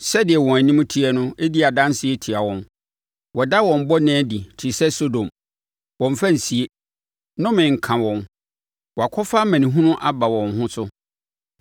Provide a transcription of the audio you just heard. Sɛdeɛ wɔn anim teɛ no di adanseɛ tia wɔn; wɔda wɔn bɔne adi te sɛ Sodom; wɔmmfa nsie. Nnome nka wɔn! Wɔakɔfa amanehunu aba wɔn ho so.